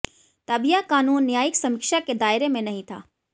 तब यह कानून न्यायिक समीक्षा के दायरे में नहीं था